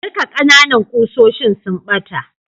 Duka kananan kusoshin sun bata.